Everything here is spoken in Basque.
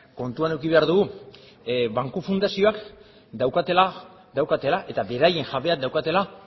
kontuan eduki behar dugu banku fundazioek daukatela eta beraien jabeek daukatela